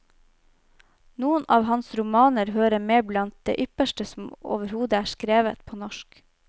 Noen av hans romaner hører med blant det ypperste som overhodet er skrevet på norsk.